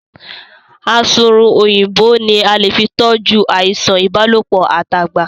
Asunrun Òyìnbó ní a lè fí toju àìsàn ìbálòpọ̀ at'agba.